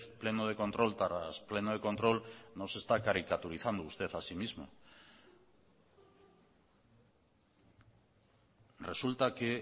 pleno de control tras pleno de control no se está caricaturizando usted a sí mismo resulta que